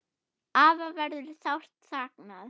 Afa verður sárt saknað.